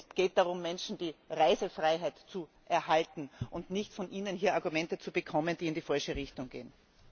Es geht darum, Menschen die Reisefreiheit zu erhalten, und nicht darum, von Ihnen hier Argumente zu bekommen, die in die falsche Richtung gehen!